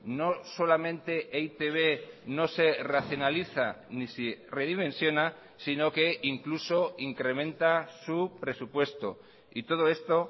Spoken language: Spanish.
no solamente e i te be no se racionaliza ni se redimensiona sino que incluso incrementa su presupuesto y todo esto